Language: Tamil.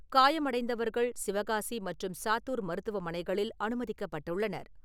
காயமடைந்தவர்கள் சிவகாசி மற்றும் சாத்தூர் மருத்துவமனைகளில் அனுமதிக்கப்பட்டுள்ளனர்.